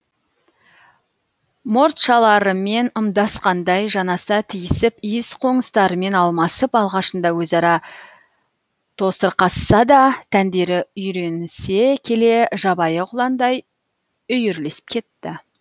мұртшаларымен ымдасқандай жанаса тиісіп иіс қоңыстарымен алмасып алғашында өзара тосырқасса да тәндері үйренісе келе жабайы құландай үйірлесіп кетті